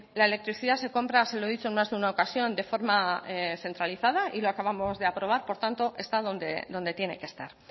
la electricidad se compra se lo dicho en más de una ocasión de forma centralizada y lo acabamos de aprobar por tanto está donde tiene que estar